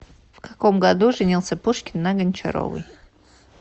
в каком году женился пушкин на гончаровой